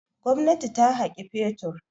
Gwamnati ta haƙi fetur.